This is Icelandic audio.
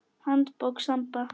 Handbók Samba.